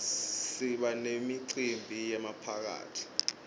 siba nemicimbi yemaphathi